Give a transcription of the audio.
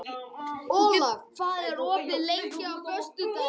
Olav, hvað er opið lengi á föstudaginn?